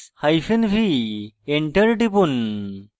enter টিপুন